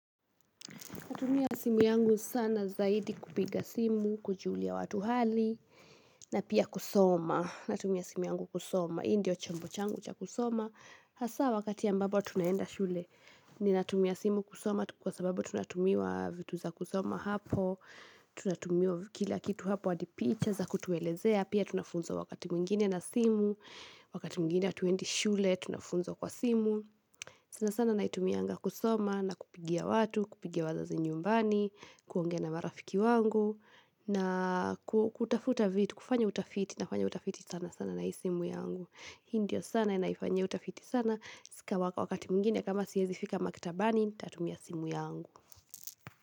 Natumia simu yangu sana zaidi kupiga simu, kujulia watu hali, na pia kusoma. Natumia simu yangu kusoma, hii ndio chambo changu cha kusoma. Hasa wakati ambapo tunaenda shule, ninatumia simu kusoma kwa sababu tunatumiwa vitu za kusoma hapo. Tunatumiwa kila kitu hapo hadi picha za kutuelezea, pia tunafunzwa wakati mwingine na simu, wakati mwingine hatuendi shule, tunafunzwa kwa simu. Sana sana naitumianga kusoma na kupigia watu, kupigia wazazi nyumbani, kuongea na marafiki wangu na kutafuta vitu, kufanya utafiti, nafanya utafiti sana sana na hii simu yangu. Hii ndiyo sana naifanyia utafiti sana, si ka wakati mwingine kama siwezi fika maktabani, nitatumia simu yangu.